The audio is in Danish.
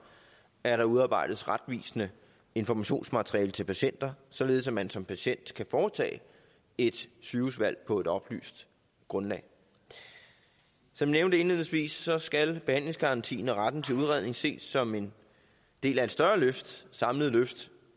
at der udarbejdes retvisende informationsmateriale til patienter således at man som patient kan foretage et sygehusvalg på et oplyst grundlag som nævnt indledningsvis skal behandlingsgarantien og retten til udredning ses som en del af et større samlet løft